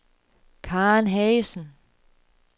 Karen Haagensen